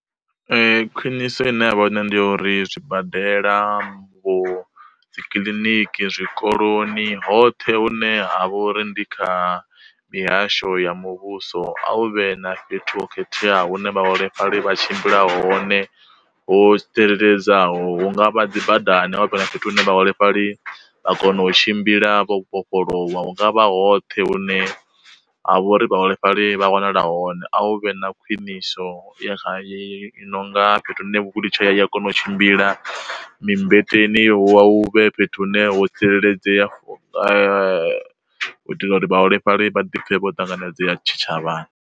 Khwiniso ine yavha hone ndi uri zwibadela, vho, dzi kiḽiniki, zwikoloni, hoṱhe hune ha vho uri ndi kha mihasho ya muvhuso a u vhe na fhethu ho khetheaho hune vhaholefhali vha tshimbila hone ho tsireledzeaho hunga vha dzi badani havha na fhethu hune vhaholefhali vha kona u tshimbila vha vhofholowa, hungavha hoṱhe hune ha vho uri vhaholefhali vha wanala hone a hu vhe na khwiniso ya kha dzi nonga fhethu hune wheel chair ya kona u tshimbila mi mmbeteni hu vha hu vhe fhethu hune ho tsireledzea for u itela uri vhaholefhali vha ḓi pfe vho ṱanganedzei tshi tshavhani.